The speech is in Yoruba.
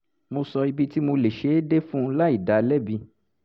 mo sọ ibi tí mo lè ṣe é dé fún un láì dá a lẹ́bi